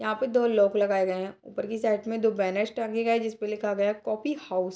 यहां पे दो लॉक लगाए गए हैं ऊपर की साइड में दो बैनर्स टंगे है जिसपे लिखा गया कॉफी हाउस ।